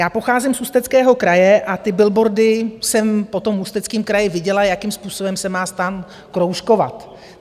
Já pocházím z Ústeckého kraje a ty billboardy jsem po tom Ústeckém kraji viděla, jakým způsobem se má STAN kroužkovat.